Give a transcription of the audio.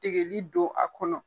Tigɛli don a kɔnɔ